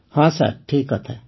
ହଁ ସାର୍ ଠିକ କଥା